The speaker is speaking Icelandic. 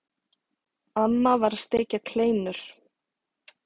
Amma var að steikja kleinur.